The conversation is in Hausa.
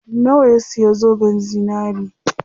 Nawa ya siya zoben zinari?